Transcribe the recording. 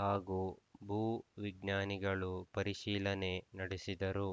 ಹಾಗೂ ಭೂ ವಿಜ್ಞಾನಿಗಳು ಪರಿಶೀಲನೆ ನಡೆಸಿದರು